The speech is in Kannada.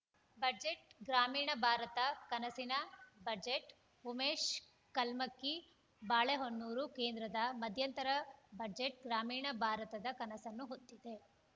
ಬಜೆಟ್‌ ಗ್ರಾಮೀಣ ಭಾರತ ಕನಸಿನ ಬಜೆಟ್‌ ಉಮೇಶ್‌ ಕಲ್ಮಕ್ಕಿ ಬಾಳೆಹೊನ್ನೂರು ಕೇಂದ್ರದ ಮಧ್ಯಂತರ ಬಜೆಟ್‌ ಗ್ರಾಮೀಣ ಭಾರತದ ಕನಸನ್ನು ಹೊತ್ತಿದೆ